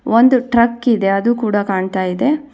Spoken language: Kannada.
ಒಂದು ಟ್ರಕ್ ಇದೆ ಅದು ಕೊಡ ಕಾಣ್ತಾ ಇದೆ.